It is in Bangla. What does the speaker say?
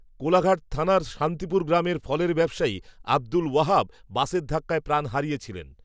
কোলাঘাট, থানার শান্তিপুর গ্রামের, ফলের ব্যবসায়ী, আবদুল, ওয়াহাব, বাসের ধাক্কায় প্রাণ হারিয়েছিলেন